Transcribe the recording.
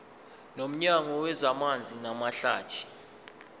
nomnyango wezamanzi namahlathi